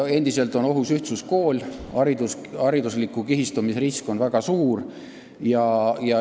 Endiselt on ohus ühtluskool, haridusliku kihistumise risk on väga suur.